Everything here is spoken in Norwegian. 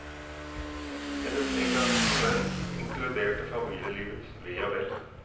Hennes engasjement inkluderte familielivets ve og vel.